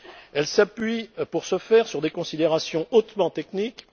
Elle s'appuie pour ce faire sur des considérations hautement techniques.